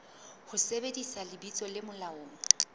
ho sebedisa lebitso le molaong